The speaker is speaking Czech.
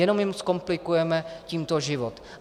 Jenom jim zkomplikujeme tímto život.